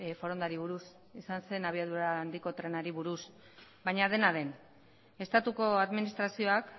forondari buruz izan zen abiadura handiko trenari buruz baina dena den estatuko administrazioak